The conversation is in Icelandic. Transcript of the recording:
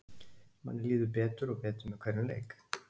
Manni líður betur og betur með hverjum leik.